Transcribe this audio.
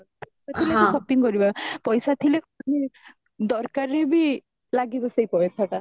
ସେଥିଲାଗି shopping କରିବା ପଇସା ହତିଳେ ମାନେ ଦରକାରରେ ବି ଲାଗିବା ସେଇ ପଇସାଟା